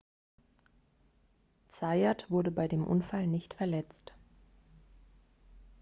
zayat wurde bei dem unfall nicht verletzt